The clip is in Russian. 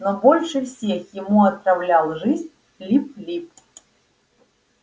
но больше всех ему отравлял жизнь лип лип